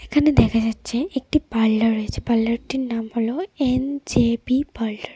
এখানে দেখা যাচ্ছে একটি পার্লার রয়েছে পার্লার -টির নাম হলো এন_জে_পি পার্লার ।